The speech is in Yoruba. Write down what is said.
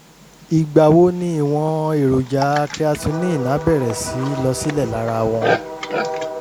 ìgbà wo ni ìwọ̀n èròjà creatinine á bẹ̀rẹ̀ sí í lọ sílẹ̀ lára wọn?